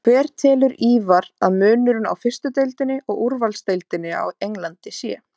Hver telur Ívar að munurinn á fyrstu deildinni og úrvalsdeildinni á Englandi sé?